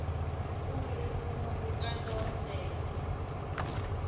uri vhuṅwe vhukando ho tea